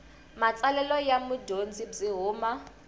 matsalelo ya mudyondzi byi huma